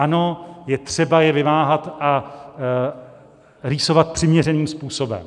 Ano, je třeba je vymáhat a rýsovat přiměřeným způsobem.